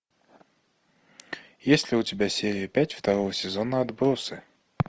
есть ли у тебя серия пять второго сезона отбросы